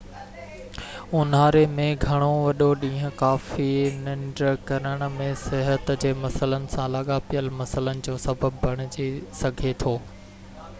اونهاري ۾ گهڻو وڏو ڏينهن ڪافي ننڍ ڪرڻ ۽ صحت جي مسئلن سان لاڳاپيل مسئلن جو سبب بڻجي سگهي ٿو